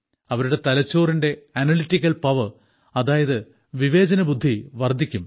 അവരുടെ തലച്ചോറിന്റെ analytical power അതായത് വിവേചനബുദ്ധി വർദ്ധിക്കും